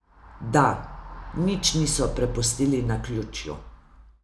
Da, nič niso prepustili naključju.